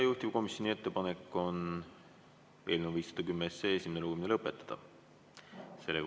Juhtivkomisjoni ettepanek on eelnõu 510 esimene lugemine lõpetada.